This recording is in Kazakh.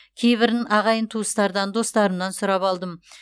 кейбірін ағайын туыстардан достарымнан сұрап алдым